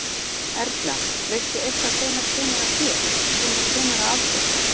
Erla: Veistu eitthvað hvenær kemur að þér, hvenær kemur að aðgerð?